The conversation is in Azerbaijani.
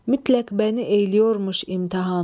Mütləq məni eyləyormuş imtahan.